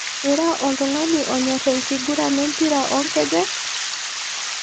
Ira oltung'ani onyorr enkiguran empira oonkejek?